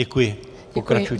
Děkuji, pokračujte.